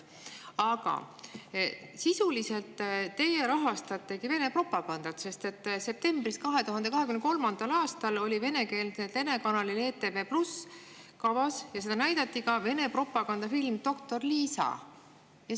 Aga sisuliselt te rahastate Vene propagandat, sest 2023. aasta septembris oli venekeelse telekanali ETV+ kavas Vene propagandafilm "Doktor Liisa" ja seda näidati ka.